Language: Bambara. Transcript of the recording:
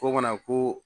Fo kana ko